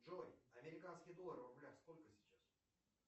джой американский доллар в рублях сколько сейчас